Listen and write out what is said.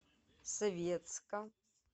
советска